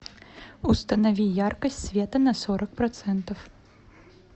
установи яркость света на сорок процентов